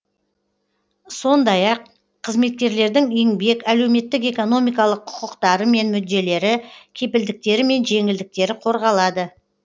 сондай ақ қызметкерлердің еңбек әлеуметтік экономикалық құқықтары мен мүдделері кепілдіктері мен жеңілдіктері қорғалады